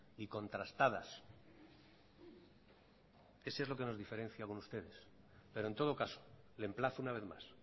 y contrastadas eso es lo que nos diferencia con ustedes pero en todo caso le emplazo una vez más